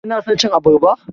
Kina son cin abarba?